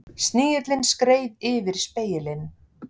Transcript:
Snigillinn skreið yfir spegilinn.